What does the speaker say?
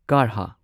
ꯀꯥꯔꯍꯥ